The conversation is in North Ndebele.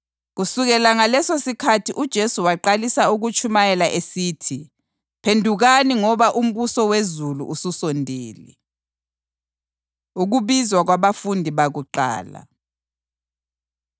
Kusukela ngalesosikhathi uJesu waqalisa ukutshumayela esithi, “Phendukani ngoba umbuso wezulu ususondele.” Ukubizwa Kwabafundi Bakuqala